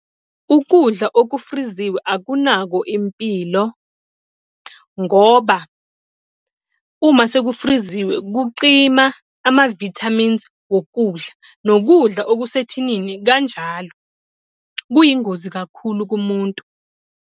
Ukudla okufriziwe akunakho impilo. Ngoba uma sekufriziwe kucima ama-vitamins wokudla. Nokudla okusethinini kanjalo kuyingozi kakhulu kumuntu.